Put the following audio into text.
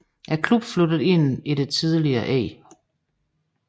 Klubben flyttede ind i det tidligere E